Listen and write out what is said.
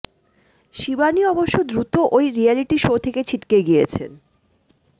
শিবানী অবশ্য দ্রুত ওই রিয়্যালিটি শো থেকে ছিটকে গিয়েছেন